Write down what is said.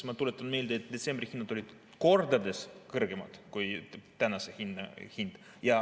Ma tuletan meelde, et detsembri hinnad olid kordades kõrgemad kui tänane hind.